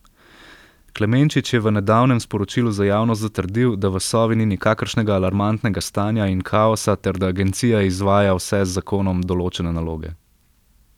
Klemenčič je v nedavnem sporočilu za javnost zatrdil, da v Sovi ni nikakršnega alarmantnega stanja in kaosa ter da agencija izvaja vse z zakonom določene naloge.